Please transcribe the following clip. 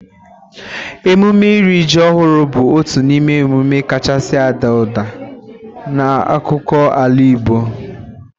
Emume ịrị ji ọhụrụ bụ otu n'ime emume kachasị ada ụda n'akụkụ ala Igbo nille.